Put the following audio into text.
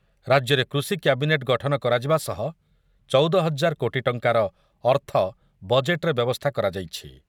ରାଜ୍ୟରେ କୃଷି କ୍ୟାବିନେଟ୍ ଗଠନ କରାଯିବା ସହ ଚଉଦ ହଜାର କୋଟି ଟଙ୍କାର ଅର୍ଥ ବଜେଟ୍‌‌‌ରେ ବ୍ୟବସ୍ଥା କରାଯାଇଛି ।